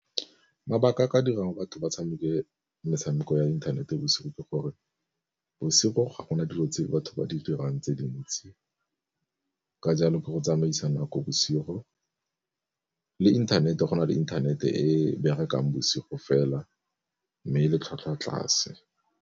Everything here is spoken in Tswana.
Mabaka a ka dirang batho ba tshameke metshameko ya inthanete bosigo ke gore, bosigo ga gona dilo tse batho ba di dirang tse di ntsi ka jalo ke go tsamaisana a ko bosigo le inthanete go na le inthanete e berekang bosigo fela mme le tlhwatlhwa tlase.